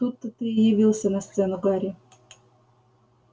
тут-то ты и явился на сцену гарри